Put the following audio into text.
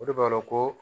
O de b'a dɔn ko